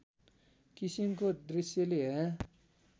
किसिमको दृश्यले यहाँ